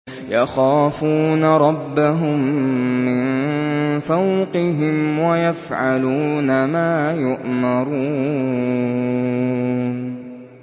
يَخَافُونَ رَبَّهُم مِّن فَوْقِهِمْ وَيَفْعَلُونَ مَا يُؤْمَرُونَ ۩